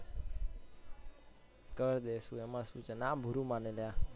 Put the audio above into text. કર દઈશું એમાં શૂ છે ના બૂરું માંને અલ્યા